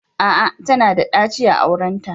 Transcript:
A'a! Tana da daci a aurenta